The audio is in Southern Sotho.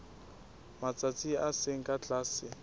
matsatsi a seng ka tlase